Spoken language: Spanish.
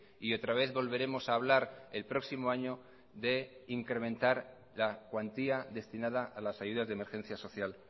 y otra vez volveremos a hablar el próximo año de incrementar la cuantía destinada a las ayudas de emergencia social